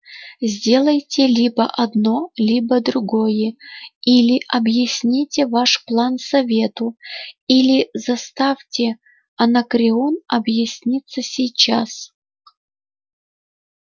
сделайте либо одно либо другое или объясните ваш план совету или заставьте анакреон объясниться сейчас